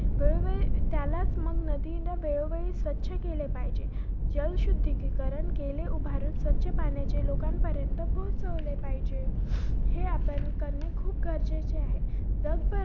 वेळोवेळ~ त्यालाच मग नदीनं वेळोवेळी स्वच्छ केले पाहिजे. जलशुद्धीकीकरण केले उभारून स्वच्छ पाणी जे लोकांपर्यंत पोहचवले पाहिजे. हे आपल्यांनी करणे खूप गरजेचे आहे. जगभर